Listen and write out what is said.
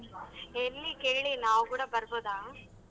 ಎಲ್ಲಿ ಕೇಳಿ ನಾವ್ ಕೂಡ ಬರ್ಬೋದಾ ?